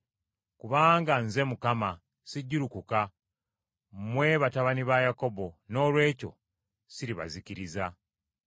“Kubanga nze Mukama sijjulukuka: mmwe, batabani ba Yakobo, noolwekyo siribazikiriza.